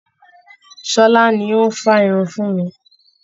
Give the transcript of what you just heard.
Ṣọlá ni ó ń fá irun fún mi